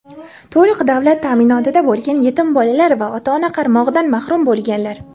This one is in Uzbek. to‘liq davlat ta’minotida bo‘lgan yetim bolalar va ota-ona qaramog‘idan mahrum bo‘lganlar;.